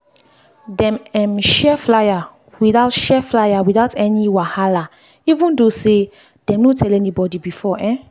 dem um share flyer without share flyer without any wahala even though say dem no tell anybody before. um